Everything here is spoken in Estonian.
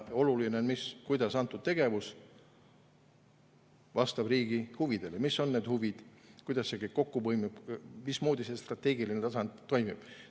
Oluline on see, kuidas antud tegevus vastab riigi huvidele, mis on need huvid, kuidas see kõik kokku põimub, mismoodi strateegiline tasand toimib.